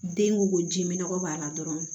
Den ko ko ji minɛ b'a la dɔrɔn